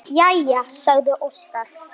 Jæja, sagði Óskar.